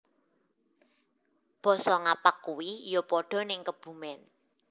Boso ngapak kui yo podo ning Kebumen